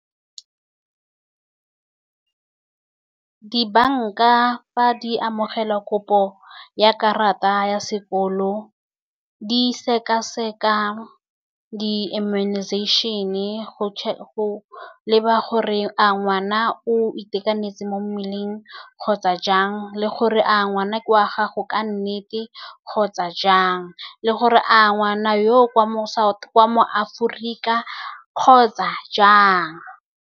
Di-bank-a, fa di amogela kopo ya karata ya sekolo, di seka-seka di-immunization-e go , go leba gore a ngwana o itekanetse mo mmeleng kgotsa jang, le gore a ngwana ke wa gago ka nnete kgotsa jang, le gore a ngwana yoo ke wa mo , ke wa mo Aforika kgotsa jang.